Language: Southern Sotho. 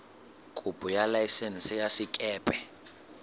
kopo ya laesense ya sekepe